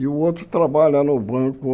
E o outro trabalha no banco.